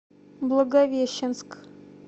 благовещенск